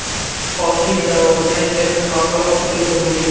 Olti yil davomida Kalin xalqaro qidiruvda bo‘lgan.